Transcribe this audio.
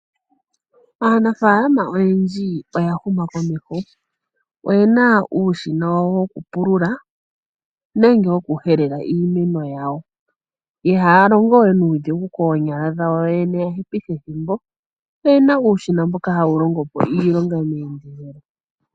Aanafaalama oyendji oya huma komeho. Oyena uushina wawo wokupulula nenge wokuhelela iimeno yawo. Ihaya longo we nuudhigu koonyala dhawo oyoyene ya hepithe ethimbo oyena uushina hawu longo po iilonga meendelelo.